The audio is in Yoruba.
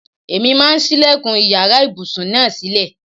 Èmi máà ń sílẹ̀kùn iyàrá ibùsùn náà sílè.